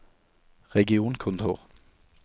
regionkontor